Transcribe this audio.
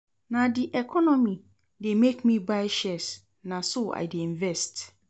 Na di economy dey make me buy shares, na so I dey invest.